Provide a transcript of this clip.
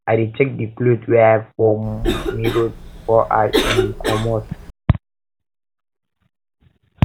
i dey check di cloth wey i wear for um mirror before i um comot